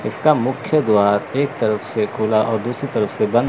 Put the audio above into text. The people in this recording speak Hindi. इसका मुख्य द्वार एक तरफ से खुला और दूसरी तरफ से बंद--